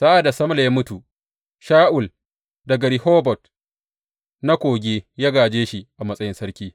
Sa’ad da Samla ya mutu, Sha’ul daga Rehobot na kogi ya gāje shi a matsayin sarki.